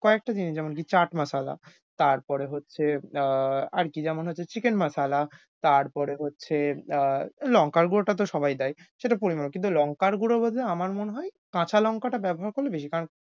কয়েকটা জিনিস যেমন কি chaat masala, তারপরে হচ্ছে আহ আর কী যেমন হচ্ছে chicken masala, তারপরে হচ্ছে আহ এই লঙ্কার গুড়োটা তো সবাই দেয়।